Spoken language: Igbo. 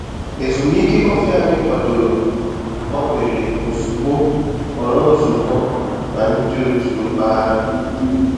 Ezumike kọfị anyị kwadoro gbanwere ozugbo ghọrọ nzukọ na ndị òtù mpaghara.